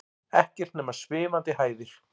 Ekkert nema svimandi hæðir.